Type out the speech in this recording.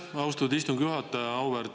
Aitäh, austatud istungi juhataja!